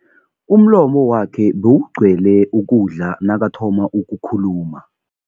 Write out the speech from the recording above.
Umlomo wakhe bewugcwele ukudla nakathoma ukukhuluma.